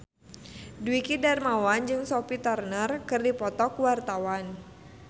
Dwiki Darmawan jeung Sophie Turner keur dipoto ku wartawan